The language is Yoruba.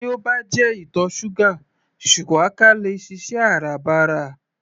Tí ó bá jẹ ìtọ̀ ṣúgà shuwaka le è ṣiṣẹ́ Áràbarà